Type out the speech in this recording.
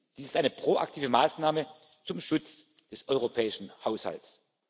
Dies ist eine proaktive Maßnahme zum Schutz des europäischen Haushalts.